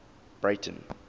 breyten